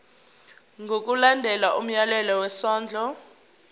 ngokulandela umyalelo wesondlo